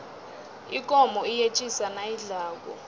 ikomo iyetjisa nayidlako